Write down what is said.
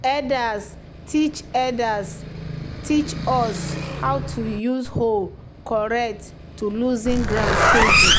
"elders teach "elders teach us how to use hoe correct to loosen ground steady."